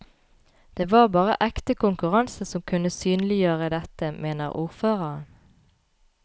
Det var bare ekte konkurranse som kunne synliggjøre dette, mener ordføreren.